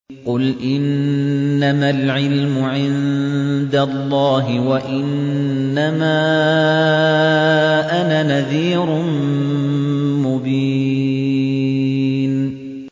قُلْ إِنَّمَا الْعِلْمُ عِندَ اللَّهِ وَإِنَّمَا أَنَا نَذِيرٌ مُّبِينٌ